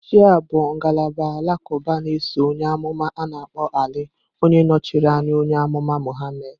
Shia bụ ngalaba alakuba na-eso onye amuma a-na akpo Ali, onye nọchiri anya onye amụma Muhammad.